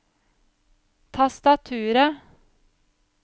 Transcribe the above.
tastaturet